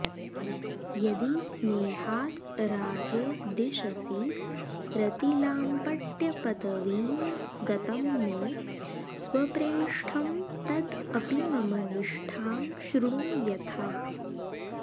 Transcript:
यदि स्नेहाद् राधे दिशसि रतिलाम्पट्यपदवीं गतं मे स्वप्रेष्ठं तद् अपि मम निष्ठां शृणु यथा